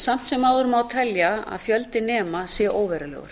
samt sem áður má telja að fjöldi nema sé óverulegur